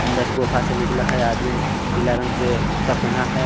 अंदर गुफा से निकला है आदमीन पीला रंग पे जूता पहना है.